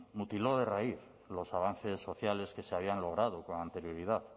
mutiló de raíz los avances sociales que se habían logrado con anterioridad